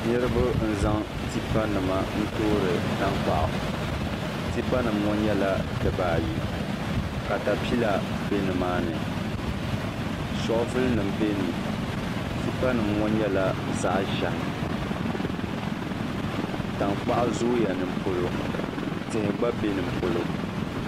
Niraba n zaŋ tipa nim n toori tankpaɣu tipa nim ŋo nyɛla dibaayi katapila bɛ nimaani shoovul nim bɛ ni tipa nim ŋo nyɛla zaɣ ʒiɛhi tankpaɣu zooya nipolo tihi gba bɛ ni polo